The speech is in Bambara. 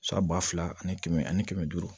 San ba fila ani kɛmɛ ani kɛmɛ duuru